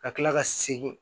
Ka kila ka segin